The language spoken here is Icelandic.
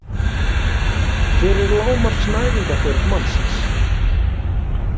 Hver er lágmarks næringarþörf mannsins?